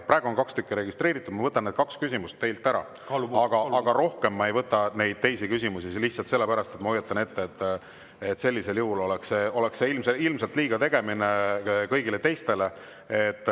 Praegu on kaks küsimust registreeritud, ma võtan need kaks küsimust vastu, aga rohkem ma ei võta teisi küsimusi, lihtsalt sellepärast, ma hoiatan ette, et see oleks ilmselt liigategemine kõigile teistele.